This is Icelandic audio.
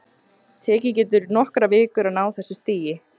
Tekið getur nokkrar vikur að ná þessu stigi.